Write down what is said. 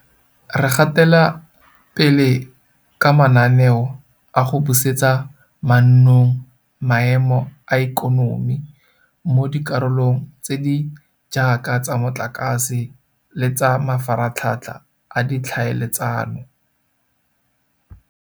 Re gatela pele ka mananeo a go busetsa mannong maemo a ikonomi mo dikarolong tse di jaaka tsa motlakase le tsa mafaratlhatlha a ditlhaeletsano.